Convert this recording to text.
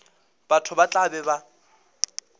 batho ba tla be ba